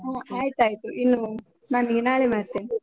ಹಾ ಆಯ್ತಾಯ್ತು ಇನ್ನು, ನಾನ್ ನಿನ್ಗೆ ನಾಳೆ ಮಾಡ್ತೇನೆ.